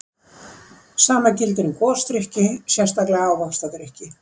Sama gildir um gosdrykki, sérstaklega ávaxtadrykki.